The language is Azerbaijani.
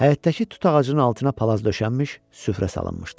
Həyətdəki tut ağacının altına palaz döşənmiş, süfrə salınmışdı.